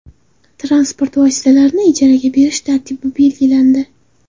Transport vositalarini ijaraga berish tartibi belgilandi.